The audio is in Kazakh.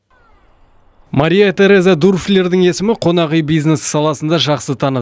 мария тереза дурфлердің есімі қонақүй бизнесі саласында жақсы таныс